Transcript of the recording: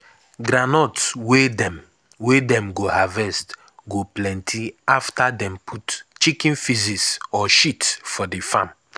groundnut wey dem wey dem go harvest go plenty after dem put chicken faeces or shit for d farm.